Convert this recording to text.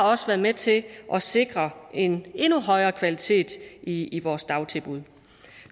også været med til at sikre en endnu højere kvalitet i i vores dagtilbud